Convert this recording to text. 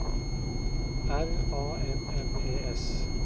R A M M E S